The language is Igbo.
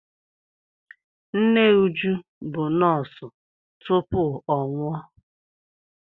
Nne Uju bụ nọọsụ tupu ọ nwụọ.